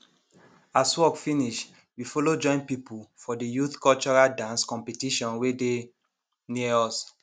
as work finish we follow join people for de youth cultural dance competition wey dey near us